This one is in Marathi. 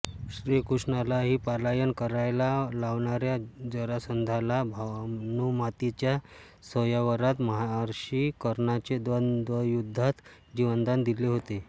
श्रीकृष्णालाही पलायन करायला लावणाऱ्या जरासंधाला भानुमातीच्या स्वयंवरात महारथी कर्णाने द्वंद्वयुद्धात जीवनदान दिले होते